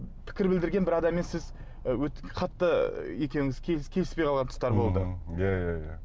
пікір білдірген бір адаммен сіз қатты екеуіңіз келіспей қалған тұстар болды иә иә иә